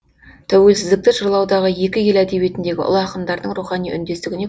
тәуелсіздікті жырлаудағы екі ел әдебиетіндегі ұлы ақындардың рухани үндестігіне